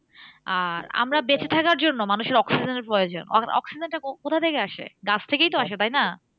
আর আমরা বেঁচে থাকার জন্য মানুষের oxygen এর প্রয়োজন o oxygen টা কথা থেকে আসে? গাছ থেকেই তো আসে তাইনা?